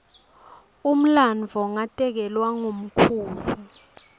umlandvo ngatekelwa ngumkhulu